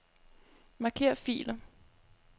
Marker filer.